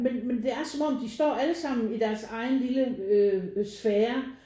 Men men det er som om de står allesammen i deres egen lille øh øh sfære